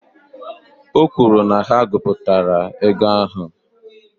O kwuru na ha gụpụtara ego ahụ